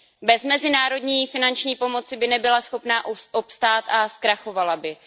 Bez mezinárodní finanční pomoci by nebyla schopna obstát a zkrachovala by.